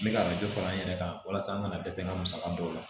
N bɛ ka dɔ fara an yɛrɛ kan walasa an ka dɛsɛ ka musaka dɔw la